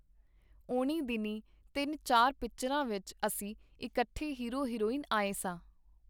ਓਹਨੀਂ ਦਿਨੀਂ ਤਿੰਨ-ਚਾਰ ਪਿਕਚਰਾਂ ਵਿਚ ਅਸੀਂ ਇਕੱਠੇ ਹੀਰੋ ਹੀਰੋਇਨ ਆਏ ਸਾਂ.